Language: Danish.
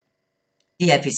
DR P3